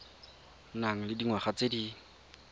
nang le dingwaga tse di